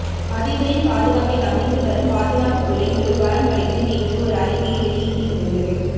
அதிபரின் பாதுகாப்பை கவனித்து வரும் பாதுகாப்புத் துறை ஒரு வாரம் கழித்து நேற்று ஒரு அறிக்கையை வெளியிட்டு இருந்தது